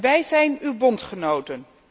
Wij zijn uw bondgenoten.